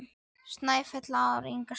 Snæfell er án stiga.